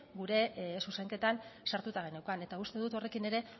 gure zuzenketan sartuta geneukan eta uste dut horrekin ere